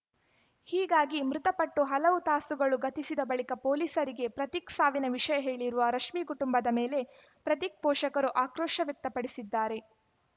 ಹೀಗಾಗಿ ಮೃತಪಟ್ಟು ಹಲವು ತಾಸುಗಳು ಗತಿಸಿದ ಬಳಿಕ ಪೊಲೀಸರಿಗೆ ಪ್ರತೀಕ್‌ ಸಾವಿನ ವಿಷಯ ಹೇಳಿರುವ ರಶ್ಮಿ ಕುಟುಂಬದ ಮೇಲೆ ಪ್ರತೀಕ್‌ ಪೋಷಕರು ಆಕ್ರೋಶ ವ್ಯಕ್ತಪಡಿಸಿದ್ದಾರೆ